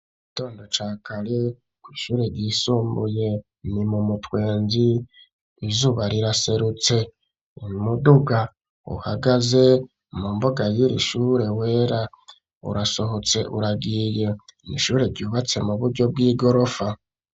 Igitondo ca kare kw'ishure ryisumbuye ni mu mutwenzi izuba riraserutse imuduga uhagaze mu mboga y'iri ishure wera urasohotse uragiye ishure ryubatse mu buryo bw'igorofa.